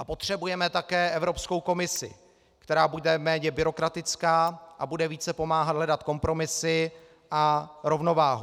A potřebujeme také Evropskou komisi, která bude méně byrokratická a bude více pomáhat hledat kompromisy a rovnováhu.